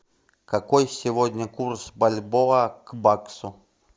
какой сегодня курс бальбоа к баксу